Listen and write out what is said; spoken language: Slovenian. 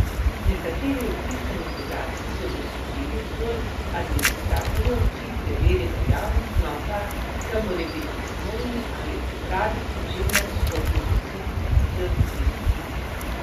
Nekateri vpisani podatki so dosegljivi zgolj administratorju, ki preveri veljavnost vnosa, ga morebiti dopolni ali popravi, pri čemer stopi v stik z vpisnikom.